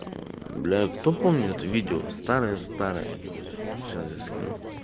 бля для кто помнит видео старое старое короче сейчас я скину